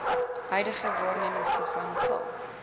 huidige waarnemersprogram sal